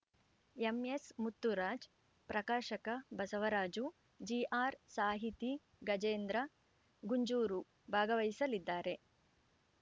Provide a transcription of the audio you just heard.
ಎಂಎಸ್ಮುತ್ತುರಾಜ್ ಪ್ರಕಾಶಕ ಬಸವರಾಜು ಜಿಆರ್ ಸಾಹಿತಿ ಗಜೇಂದ್ರ ಗುಂಜೂರು ಭಾಗವಹಿಸಲಿದ್ದಾರೆ